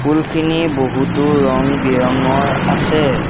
ফুলখিনি বহুতো ৰং বিৰঙৰ আছে।